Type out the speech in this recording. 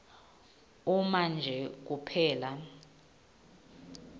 uma nje kuphela